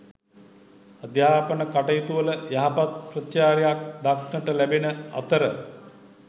අධ්‍යාපන කටයුතුවල යහපත් ප්‍රතිචාරයක් දක්නට ලැබෙන අතර